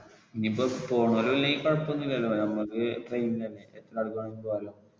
ഇനീപ്പോ പോണവരലെങ്കി കുഴപ്പൊന്നും ഇല്ലാലോ നമുക്ക് train അല്ലെ ആർക്ക് വേണേലും പോകാലോ.